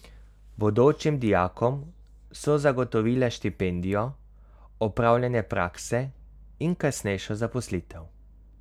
Bodočim dijakom so zagotovila štipendijo, opravljanje prakse in kasnejšo zaposlitev.